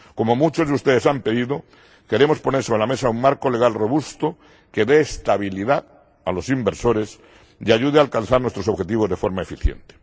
Como muchos de ustedes han pedido, queremos poner sobre la mesa un marco legal robusto que dé estabilidad a los inversores y ayude a alcanzar nuestros objetivos de forma eficiente.